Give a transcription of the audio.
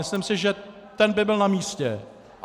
Myslím si, že ten by byl na místě.